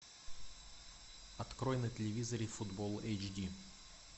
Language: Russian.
открой на телевизоре футбол эйч ди